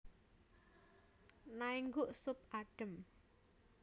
Naengguk sup adhem